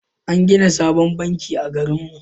An gina sabon banki a garinmu.